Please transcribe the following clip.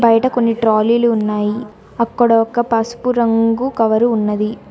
బయట కొన్ని ట్రాలీలు ఉన్నాయి అక్కడొక్క పసుపు రంగు కవరు ఉన్నది.